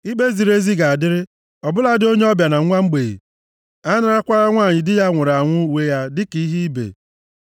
Ikpe ziri ezi ga-adịrị, ọ bụladị onye ọbịa na nwa mgbei, anarakwala nwanyị di ya nwụrụ anwụ uwe ya dịka ihe ibe.